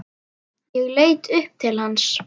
Ég leit upp til hans.